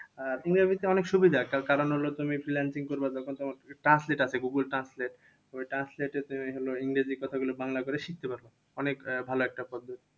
আহ ইংরেজিতে অনেক সুবিধা। তার কারণ হলো, তুমি freelancing করবা যখন তখন translate আছে গুগুল translate ওই translate তে ওই হলো ইংরেজি কথাগুলো বাংলা করে শিখতে পারবে। অনেক ভালো একটা পদ্ধতি।